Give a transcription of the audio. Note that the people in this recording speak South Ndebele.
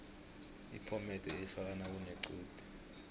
iphomede ifakwa nakunequde